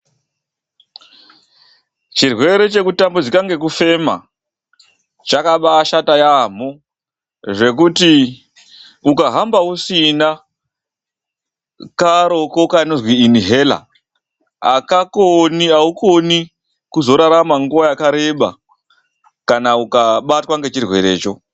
Chirwere chekutambudzika ngekufema chakabashata yaamho zvekuti ukahamba usina karoko kanozwi inihera akakoni, aukoni kurarama nguwa yakareba kana ukabatwa ngechirwerecho.